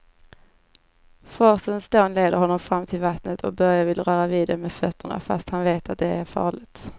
Forsens dån leder honom fram till vattnet och Börje vill röra vid det med fötterna, fast han vet att det är farligt.